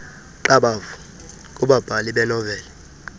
qabavu kubabhali beenoveli